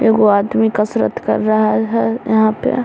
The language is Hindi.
एगो आदमी कसरत कर रहा है यहाँ पे।